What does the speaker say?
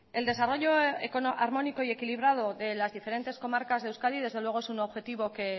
el desarrollo armónico y equilibrado de las diferentes comarcas de euskadi desde luego es un objetivo que